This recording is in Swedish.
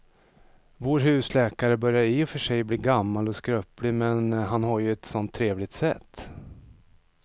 Vår husläkare börjar i och för sig bli gammal och skröplig, men han har ju ett sådant trevligt sätt!